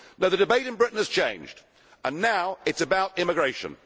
The debate in Britain has changed and now it is about immigration.